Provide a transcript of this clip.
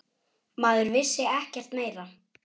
Maður vissi ekkert meira.